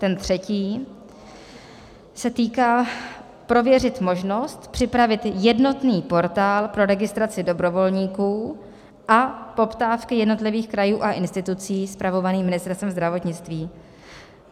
Ten třetí se týká - prověřit možnost připravit jednotný portál pro registraci dobrovolníků a poptávky jednotlivých krajů a institucí spravovaný Ministerstvem zdravotnictví.